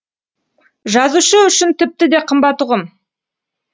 жазушы үшін тіпті де қымбат ұғым